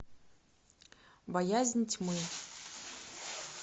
боязнь тьмы